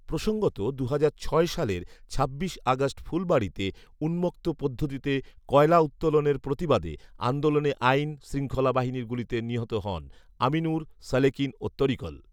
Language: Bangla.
প্রসঙ্গত দুহাজার ছয় সালের ছাব্বিশ আগষ্ট ফুলবাড়িতে উন্মুক্ত পদ্ধতিতে কয়লা উত্তোলনের প্রতিবাদে আন্দোলনে আইন শৃঙ্খলা বাহিনীর গুলিতে নিহত হন আমিনুর, সালেকিন ও তরিকুল